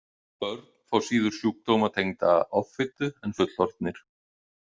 Börn fá síður sjúkdóma tengda offitu en fullorðnir.